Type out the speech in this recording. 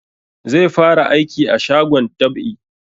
Zai fara aiki a shagon dab'i